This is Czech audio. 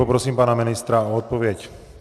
Poprosím pana ministra o odpověď.